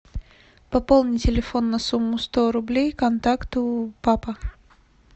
пополни телефон на сумму сто рублей контакту папа